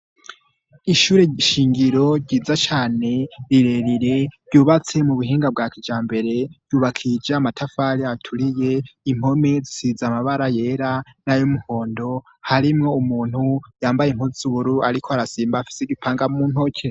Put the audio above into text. ishure shingiro ryiza cane rirerire ryubatse mu buhinga bwa kijambere ryubakije amatafari aturiye impome zisize amabara yera n'ayumuhondo harimwo umuntu yambaye impuzu zubururu ariko arasimba afite igipanga mu ntoke